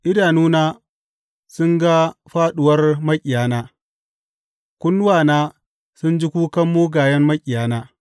Idanuna sun ga fāɗuwar maƙiyana; kunnuwana sun ji kukan mugayen maƙiyana.